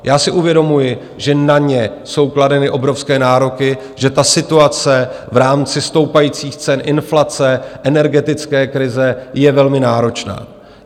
Já si uvědomuji, že na ně jsou kladeny obrovské nároky, že ta situace v rámci stoupajících cen, inflace, energetické krize je velmi náročná.